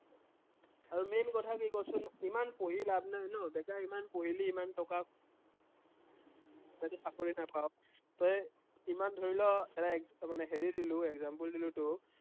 আৰু main কথা কি কচোন, ইমান পঢ়ি লাভ নাই ন, বেকাৰ ইমান পঢ়িলি ইমান টকা তইতো চাকৰি নাপাৱ, তই ইমান ধৰি ল, এটা মানে হেৰি দিলো example দিলো তোক